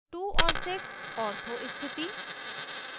* 2 और 6 ortho स्थिति